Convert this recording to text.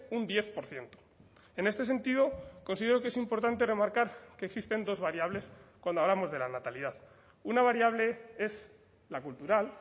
un diez por ciento en este sentido considero que es importante remarcar que existen dos variables cuando hablamos de la natalidad una variable es la cultural